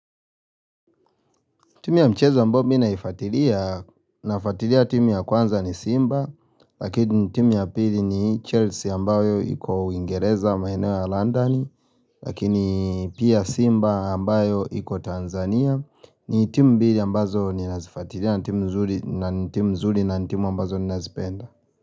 Timu ya mchezo ambao mi naifatilia nafuatilia timu ya kwanza ni Simba Lakini timu ya pili ni Chelsea ambayo iko uingereza maeneo ya London Lakini pia Simba ambayo iko Tanzania ni timu mbili ambazo ninazifatiria na timu mzuri na ni timu nzuri na ni timu ambazo ninazipenda.